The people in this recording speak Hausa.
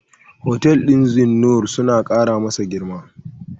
Hotel ɗin Zeennoor suna ƙara masa girma.